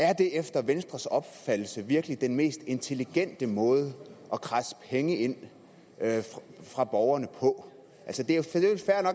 er det efter venstres opfattelse virkelig den mest intelligente måde at kradse penge ind fra borgerne på